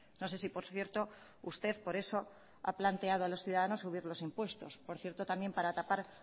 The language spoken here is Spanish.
no sé si por cierto usted por eso ha planteado a los ciudadanos subir los impuestos por cierto también para tapar